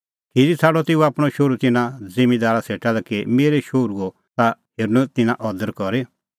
खिरी छ़ाडअ तेऊ आपणअ शोहरू तिन्नां ज़िम्मींदारा सेटा लै कि मेरै शोहरूओ ता हेरनअ तिन्नां अदर करी